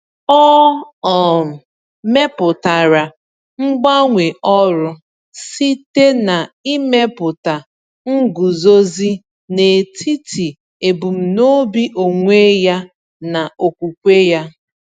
O um mepụtara mgbanwe ọrụ site na imepụta nguzozi n’etiti ebumnobi onwe ya na okwukwe ya.